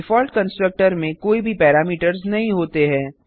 default constructor में कोई भी पैरामीटर्स नहीं होते हैं